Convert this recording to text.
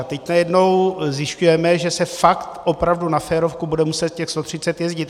A teď najednou zjišťujeme, že se fakt, opravdu na férovku, bude muset těch 130 jezdit.